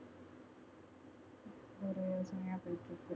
யோசனையா போயிட்டுருக்கு